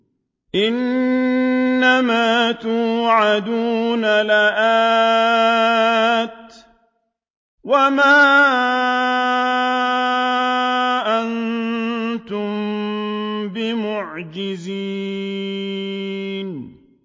إِنَّ مَا تُوعَدُونَ لَآتٍ ۖ وَمَا أَنتُم بِمُعْجِزِينَ